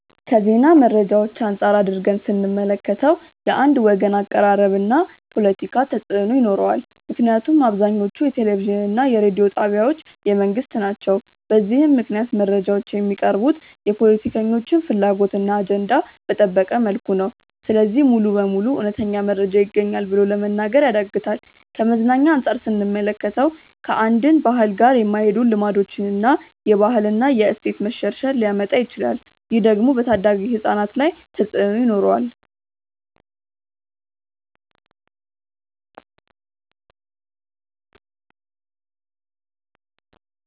ከዜና መረጃዎች አንፃር አድርገን ስንመለከተው። የአንድ ወገን አቀራረብ እና ፖለቲካ ተፅእኖ ይኖረዋል ምክንያቱም አብዛኞቹ የቴሌቪዥን እና የሬዲዮ ጣቢያዎች የመንግስት ናቸው። በዚህም ምክንያት መረጃዎች የሚቀርቡት የፖለቲከኞችን ፍላጎት እና አጀንዳ በጠበቀ መልኩ ነው። ስለዚህ ሙሉ በሙሉ እውነተኛ መረጃ ይገኛል ብሎ ለመናገር ያዳግታል። ከመዝናኛ አንፃር ስንመለከተው። ከአንድን ባህል ጋር የማይሄዱ ልማዶችን እና የባህል እና የእሴት መሸርሸር ሊያመጣ ይችላል። ይህ ደግሞ በታዳጊ ህፃናት ላይ ተፅእኖ ይኖረዋል።